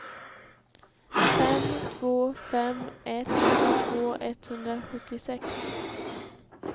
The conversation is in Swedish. fem två fem ett nittiotvå etthundrasjuttiosex